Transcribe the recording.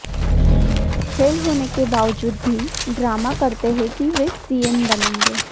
fail होने के बावजूद भी ड्रामा करते हैं कि वे सीएम बनेंगे